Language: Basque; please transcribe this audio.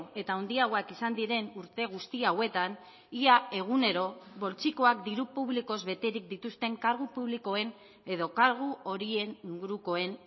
eta handiagoak izan diren urte guzti hauetan ia egunero poltsikoak diru publikoz beterik dituzten kargu publikoen edo kargu horien ingurukoen